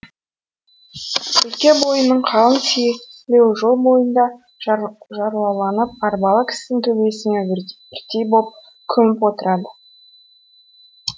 өлке бойының қалың селеуі жол бойында жарлауланып арбалы кісінің төбесімен бірдей боп көміп отырады